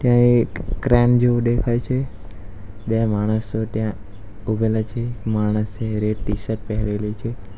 એક ક્રેન જેવુ દેખાય છે બે માણસો ત્યાં ઊભેલા છે માણસે રેડ ટીશર્ટ પેહરેલી છે.